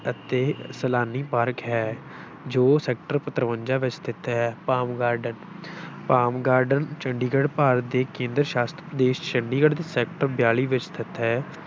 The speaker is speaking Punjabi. ਅਤੇ ਸੈਲਾਨੀ ਪਾਰਕ ਹੈ ਜੋ sector ਤਰਵੰਜਾ ਵਿੱਚ ਸਥਿਤ ਹੈ, palm garden palm garden Chandigarh, Bharat ਦੇ ਕੇਂਦਰ ਸ਼ਾਸ਼ਤ ਪ੍ਰਦੇਸ ਚੰਡੀਗੜ੍ਹ ਦੇ sector ਬਿਆਲੀ ਵਿੱਚ ਸਥਿਤ ਹੈ।